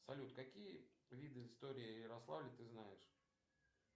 салют какие виды истории ярославля ты знаешь